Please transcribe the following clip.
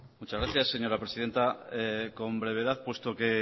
muchas gracias señora presidenta con brevedad puesto que